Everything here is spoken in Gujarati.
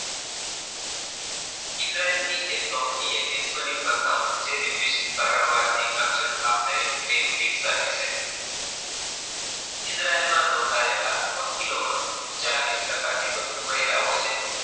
ઇજ્યારેલ ની એક કંપની વિશ્ર્વ ની પ્રથમ ઈજરાયલ માં નોધયેલા વકીલોમાં ચાલીસ ટકા થી વધુ મહિલાઓ છે.